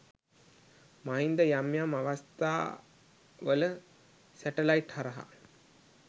මහින්ද යම් යම් අවස්ථා වල සටලයිටි හරහා